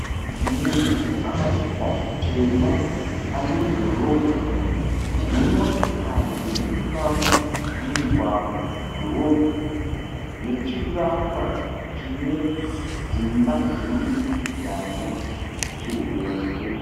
Munhu akapfeka zvitema ari mudhorobha nemotokari dziri kufamba mumugwagwa mudhorobha nechivakwa chine dzimba dzemudurikidzanwa chihombe.